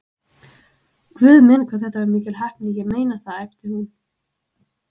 Guð minn, hvað þetta var mikil heppni, ég meina það æpti hún.